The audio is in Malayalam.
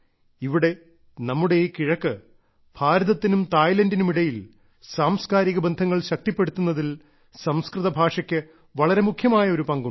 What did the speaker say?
ഇവിടെ നമ്മുടെ ഈ കിഴക്ക് ഭാരതത്തിനും തായ്ലൻഡിനും ഇടയിൽ സാംസ്കാരിക ബന്ധങ്ങൾ ശക്തിപ്പെടുത്തുന്നതിൽ സംസ്കൃതഭാഷക്ക് വളരെ മുഖ്യമായ ഒരു പങ്കുണ്ട്